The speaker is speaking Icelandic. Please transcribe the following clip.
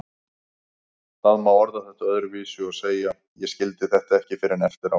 Það má orða þetta öðruvísi og segja: Ég skildi þetta ekki fyrr en eftir á.